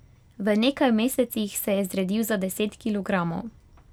V nekaj mesecih se je zredil za deset kilogramov.